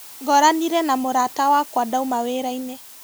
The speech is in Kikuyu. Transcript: Ngoranire na mũrata wakwa ndauma wĩrainĩ.